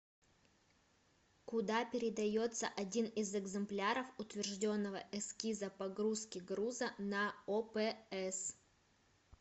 куда передается один из экземпляров утвержденного эскиза погрузки груза на опс